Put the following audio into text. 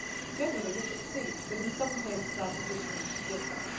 Generally we succeed, but in some cases our positions differ.